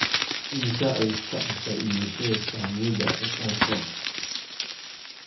Immisa ayay ku kacaysaa iibsashada saamiyada safaricom?